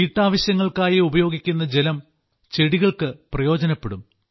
വീട്ടാവശ്യങ്ങൾക്കായി ഉപയോഗിക്കുന്ന ജലം ചെടികൾക്ക് പ്രയോജനപ്പെടും